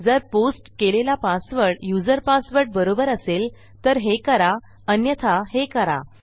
जर पोस्ट केलेला password user password बरोबर असेल तर हे करा अन्यथा हे करा